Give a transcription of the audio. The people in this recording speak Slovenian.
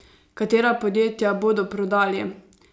Katera podjetja bodo prodali?